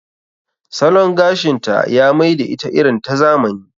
Salon gashinta ya mai da ita irin ta zamani.